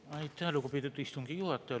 Aitäh, lugupeetud istungi juhataja!